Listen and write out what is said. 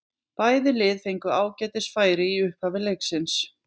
Bæði lið fengu ágætis færi í upphafi leiksins.